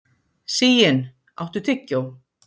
Sigyn, áttu tyggjó?